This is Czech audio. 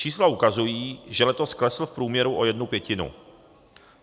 Čísla ukazují, že letos klesl v průměru o jednu pětinu.